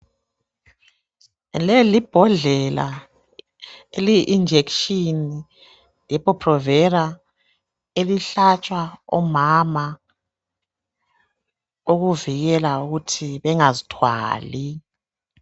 leli libhodlela eliyi injection Depo-Provela elihlatshwa omama ukuvikela ukuthi bengazithwali